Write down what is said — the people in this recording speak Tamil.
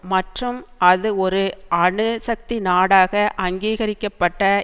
மற்றும் அது ஒரு அணு சக்தி நாடாக அங்கீகரிக்க பட்ட